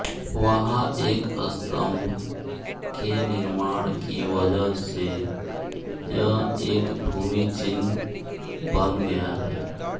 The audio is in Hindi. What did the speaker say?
वहां एक स्तंभ के निर्माण की वजह से यह एक भूमिचिह्न बन गया है